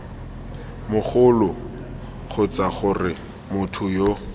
mogoloo kgotsa gore motho yo